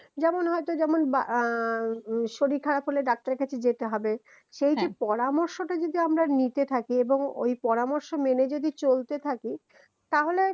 যেমন হয়তো যেমন বা আহ শরীর খারাপ হলে ডাক্তার এর কাছে যেতে হবে হ্যা সেই যে পরামর্শটা যদি আমরা নিতে থাকি এবং ঐ পরামর্শ মেনে যদি চলতে থাকি তাহলে